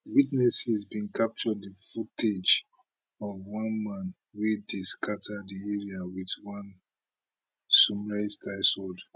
witnesses bin capture di footage of one man wey dey scata di area wit one samuraistyle sword